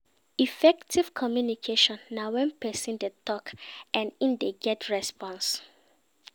Effective communication na when persin de talk and im de get response